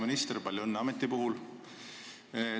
Hea minister, palju õnne uue ameti puhul!